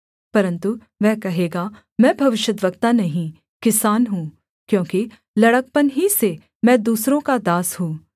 परन्तु वह कहेगा मैं भविष्यद्वक्ता नहीं किसान हूँ क्योंकि लड़कपन ही से मैं दूसरों का दास हूँ